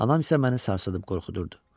Anam isə məni sarsıdıb qorxudurdu.